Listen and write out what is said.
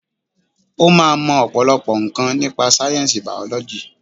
O máa mọ ọ̀pọ̀lọpọ̀ nǹkan nípa sáyẹ̀nsì bàọ́lọ́jì